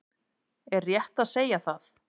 Er rétt að segja það?